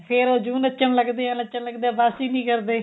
ਫੇਰ ਜੁੰ ਨੱਚਣ ਲੱਗਦੇ ਨੱਚਣ ਲੱਗਦੇ ਨੇ ਬੱਸ ਈ ਨੀ ਕਰਦੇ